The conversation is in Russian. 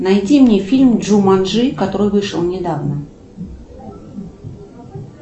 найди мне фильм джуманджи который вышел недавно